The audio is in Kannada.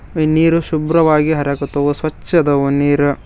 ಈ ನೀರು ಶುಭ್ರವಾಗಿ ಹರಾಗತ್ತವು ಸ್ವಚ್ಛದವು ನೀರು.